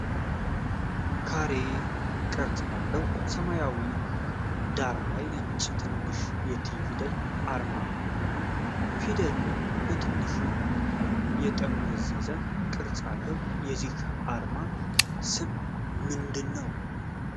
ካሬ ቅርጽ ባለው የሰማያዊ ሰማያዊ ዳራ ላይ ነጭ፣ ትንሽ የ 't' ፊደል አርማ ነው። ፊደሉ በትንሹ የጠመዘዘ ቅርጽ አለው። የዚህ አርማ ስም ምንድን ነው?